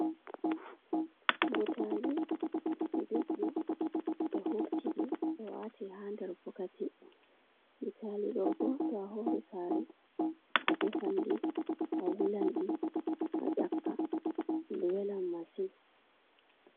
butali ɗi duɗɗi ɓe hurtidi be wati ha nder bokati, butali ɗo bo to a hori sare a defanɗi a wulanɗi a ƴakka welan main.